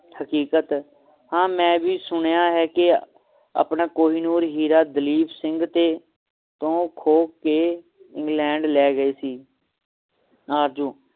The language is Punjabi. ਹਕੀਕਤ ਹਾਂ ਮੈਂ ਵੀ ਸੁਣਿਆ ਹੈ ਕਿ ਆਪਣਾ ਕਹਿਨੂਰ ਹੀਰਾ ਦਲੀਪ ਸਿੰਘ ਤੇ ਤੋਂ ਖੋਹ ਕੇ ਕੇ ਖੋਹ ਕੇ ਇੰਗਲੈਂਡ ਲੈ ਗਏ ਸੀ ਆਰਜ਼ੂ